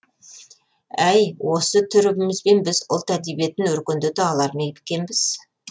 әй осы түрімізбен біз ұлт әдебиетін өркендете алар ма екенбіз